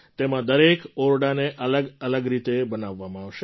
તેમાં દરેક ઓરડાને અલગ રીતે બનાવવામાં આવશે